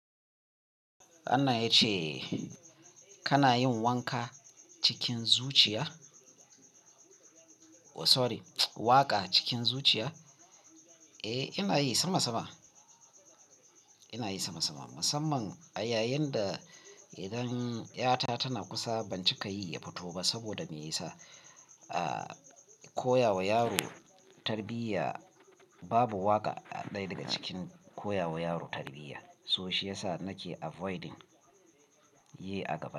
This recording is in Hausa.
Wanna ya ce kana yin wanka cikin zuciya? Oh sorry, waƙa cikin zuciya? Eh, ina yi sama sama. Ina yi sama sama. Musamman a yayin da idan 'yata tana kusa ban cika yi ya fito ba saboda me yasa? Aaa, koya wa yaro tarbiyya babu waƙa a daya daga cikin koya wa yaro tarbiyya. So shi ya sa nake avoiding yi a gaba.